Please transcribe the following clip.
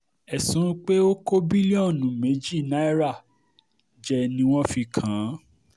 ẹ̀sùn um pé ó kó bílíọ̀nù um méjì náírà jẹ ni wọ́n fi kàn án